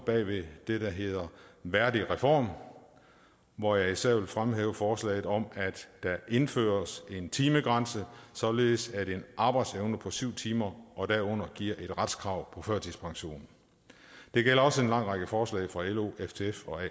bag ved det der hedder værdigreform hvor jeg især vil fremhæve forslaget om at der indføres en timegrænse således at en arbejdsevne på syv timer og derunder giver et retskrav på førtidspension det gælder også en lang række forslag fra lo ftf og